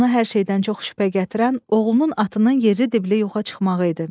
Ona hər şeydən çox şübhə gətirən oğlunun atının yeri dibli yoxa çıxmağı idi.